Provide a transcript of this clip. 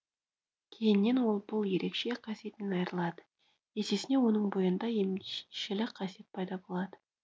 кейіннен ол бұл ерекше қасиетінен айырылады есесіне оның бойында емшілік қасиет пайда болады